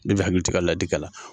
Bɛɛ bi hakili to i ka ladikan la.